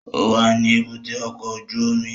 Ó wà ní èbúté ọkọ̀ ojú omi